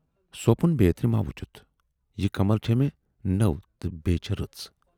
سوپُن بیترِ ما وُچھُتھ؟ یہِ کمل چھے مےٚ نٔو تہٕ بییہِ چھے رٕژ۔